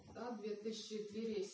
да две тысячи двести